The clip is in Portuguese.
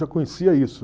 Já conhecia isso.